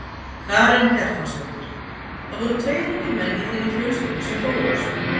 Karen Kjartansdóttir: Það voru tveir ungir menn í þinni fjölskyldu sem fórust?